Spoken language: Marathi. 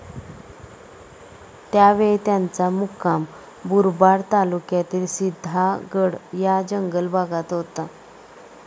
त्यावेळी त्यांचा मुक्काम मुरबाड तालुक्यातील सिधागड या जंगल भागात होता.